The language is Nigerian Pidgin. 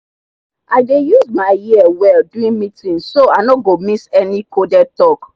i dey use my ear well during meeting so i no go miss any coded talk